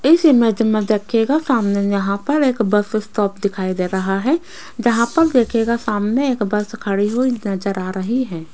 इस इमेज में देखिएगा सामने यहां पर एक बस स्टॉप दिखाई दे रहा है जहां पर देखिएगा सामने एक बस खड़ी हुई नजर आ रही है।